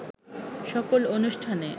সকল অনুষ্ঠানে